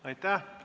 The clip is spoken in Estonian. Aitäh!